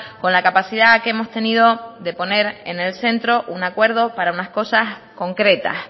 con la capacidad que hemos tenido de poner en el centro un acuerdo para unas cosas concretas